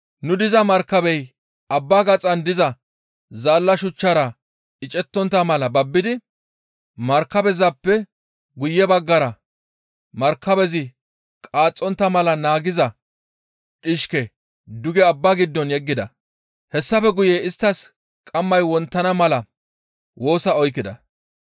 Nu diza markabey abbaa gaxan diza zaalla shuchchara icetontta mala babbidi markabezappe guye baggara markabezi qaaxxontta mala naagiza dhishke duge abbaa giddo yeggida; hessafe guye isttas qammay wonttana mala woosa oykkida.